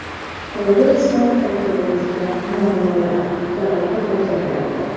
Qolaversa, tarkibimizda muammolar, jarohat olganlar bor.